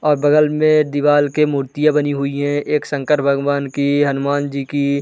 और बगल में दिवाल के मूर्तियाँ बनी हुई है एक शंकर भगवान की हनुमान जी की।